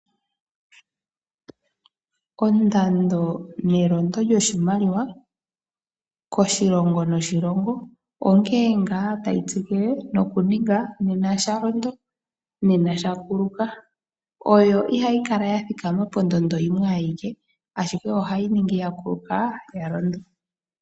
Ondando nelondo lyoshimaliwa koshilongo noshilongo onkene ngaa tayi tsikile nokuninga nena sha londo nena sha kuluka, oyo ihayi kala ya thikama pondondo yimwe ayike, ashike ohayi ningi ya yi pombanda ya yi pevi.